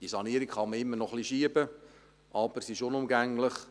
Die Sanierung kann man immer noch etwas hinausschieben, aber sie ist unumgänglich.